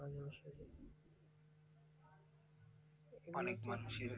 অনেক মানুষের